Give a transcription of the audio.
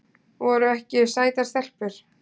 Voru ekki sætar stelpur?